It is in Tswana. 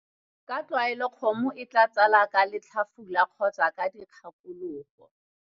Ka tlwaelo kgomo e tla tsala ka letlhafula kgotsa ka dikgakologo.